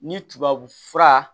Ni tubabu fura